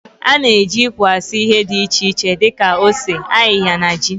Ana eji ikwe asụ ihe di iche iche di ka ose, ayịya na ji.